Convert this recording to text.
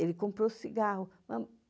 Ele comprou o cigarro.